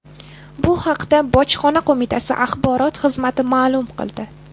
Bu haqda Bojxona qo‘mitasi axborot xizmati ma’lum qildi .